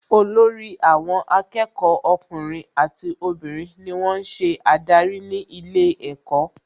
Olórí àwọn akẹ́kọ̀ọ́ ọkùnrin àti obìnrin ni wón ń ṣiṣẹ́ adarí ní ilé ẹ̀kọ́